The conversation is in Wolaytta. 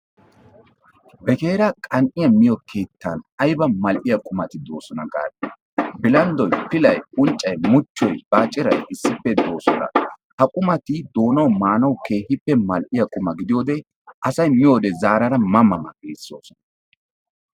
Begeeraa qan7iya miyo keettan ayba mall7iya qumati doosona gaadii bilanddoyi, pilayi, unccayi, muchchoyi baaccirayi issippe doosona. Ha qumati maanawu doonan keehippe malliya quma gidiyode asayi miyode zaarada ma ma giissoosona.